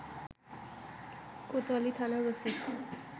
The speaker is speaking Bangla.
কোতোয়ালি থানার ওসি